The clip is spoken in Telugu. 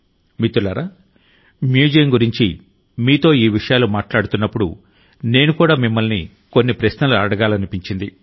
మిత్రులారా మ్యూజియం గురించి మీతో ఈ విషయాలు మాట్లాడుతున్నప్పుడునేను కూడా మిమ్మల్ని కొన్ని ప్రశ్నలు అడగాలని అనిపించింది